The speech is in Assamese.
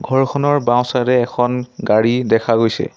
ঘৰখনৰ বাওঁছাইডে‌ এখন গাড়ী দেখা গৈছে।